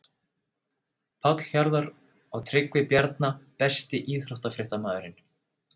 Páll Hjarðar og Tryggvi Bjarna Besti íþróttafréttamaðurinn?